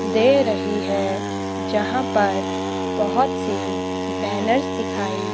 दे रही है जहां पर बहुत से बैनर्स दिखाई--